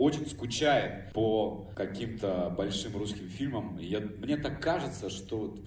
очень скучаем по каким-то большим русским фильмам я мне так кажется что